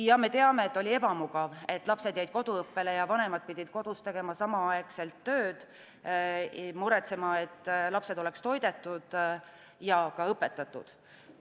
Jaa, me teame, et oli ebamugav – lapsed jäid koduõppele ja vanemad pidid kodus tegema samaaegselt tööd, muretsema, et lapsed oleks toidetud ja ka õpetatud.